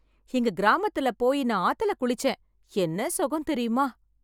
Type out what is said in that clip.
எங்க கிராமத்துல போயி நான் ஆத்துல குளிச்சேன். என்ன சுகம் தெரியுமா?